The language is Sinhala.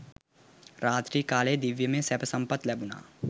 රාත්‍රි කාලයෙහි දිව්‍යමය සැප සම්පත් ලැබුණා.